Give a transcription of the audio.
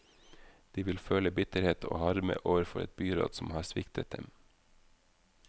De vil føle bitterhet og harme overfor et byråd som har sviktet dem.